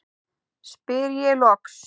spyr ég loks.